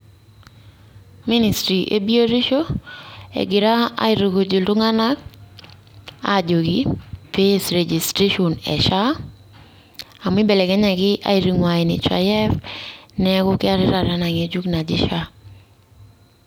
Ministri' ebiotisho, egira aitukuj iltung'anak ajoki pee ees registration e SHA amu ibelekenyaki aitungua NHIF, neeku keetai enang'ejuk najii SHA.